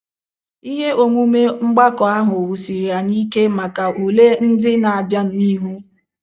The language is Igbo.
Ihe omume mgbakọ ahụ wusiri anyị ike maka ule ndị na - abịa n’ihu.